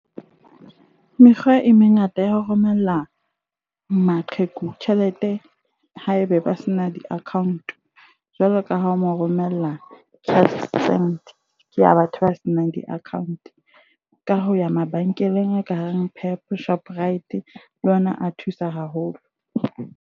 Mekgwa e mengata ya ho romella maqheku tjhelete haebe ba se na di-account. Jwalo ka ha o mo romella Cashsend. Ke a batho ba senang di-account, ka ho ya mabenkeleng a kareng Pep, Shoprite, le ona a thusa haholo.